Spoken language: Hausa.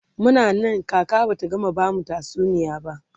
Muna Nan kaka Bata gama bamu tatsuniya ba